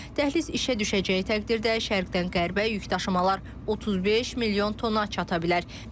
Dəhliz işə düşəcəyi təqdirdə, şərqdən qərbə yükdaşımalar 35 milyon tona çata bilər.